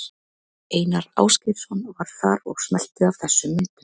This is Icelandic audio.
Einar Ásgeirsson var þar og smellti af þessum myndum.